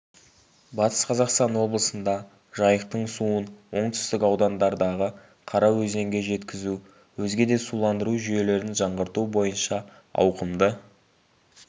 батыс қазақстан облысында жайықтың суын оңтүстік аудандардағы қараөзенге жеткізу өзге де суландыру жүйелерін жаңғырту бойынша ауқымды